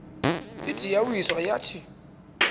ithi iyawisa yathi